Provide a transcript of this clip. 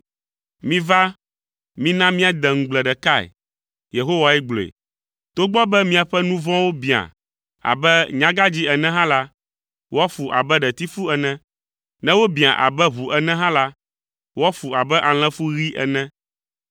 “Miva, mina míade ŋugble ɖekae,” Yehowa gblɔe. “Togbɔ be miaƒe nu vɔ̃wo biã abe nyagãdzĩ ene hã la, woafu abe ɖetifu ene. Ne wobiã abe ʋu ene hã la, woafu abe alẽfu ɣi ene.